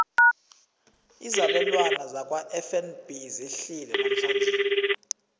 izabelwana zakwafnb zehlile namhlanje